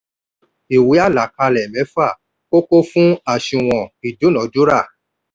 ìwé àlàkalẹ̀ méfa kókó fún àṣùwọ̀n ìdúnadúrà.